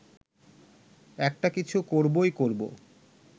একটা কিছু করবই করব